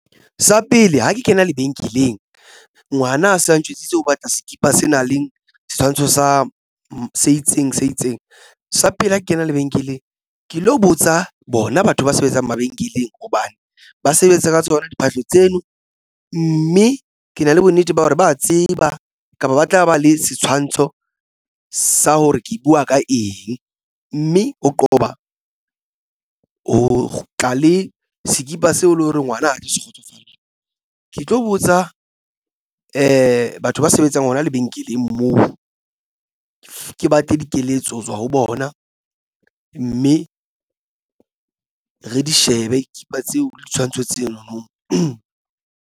Sa pele ha ke kena lebenkeleng ngwana a se a njwetsitse hore o batla skipa se nang le setshwantsho sa se itseng se itseng sa pele ho kena lebenkeleng. Ke lo botsa bona batho ba sebetsang mabenkeleng hobane ba sebetsa ka tsona diphahlo tseno mme ke na le bonnete ba hore ba tseba kapa ba tla ba le setshwantsho sa hore ke buwa ka eng mme ho qoba ho tla le sekipa seo e leng hore ngwana a se kgotsofale. Ke tlo botsa batho ba sebetsang ona lebenkeleng moo ke batle dikeletso ho tswa ho bona mme re di shebe skipa tseo le ditshwantsho tseno no.